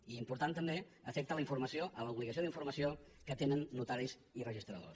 i important també afecta la informació l’obligació d’informació que tenen notaris i registradors